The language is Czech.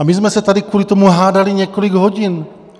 A my jsme se tady kvůli tomu hádali několik hodin.